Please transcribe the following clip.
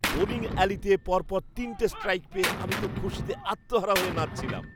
Bowling অ্যালিতে পরপর তিনটে স্ট্রাইক পেয়ে আমি তো খুশিতে আত্মহারা হয়ে নাচছিলাম।